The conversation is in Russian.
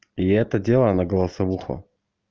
и это дело на голосовуху